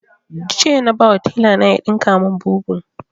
Jiya na ba wa taila na ya ɗinka mun bubu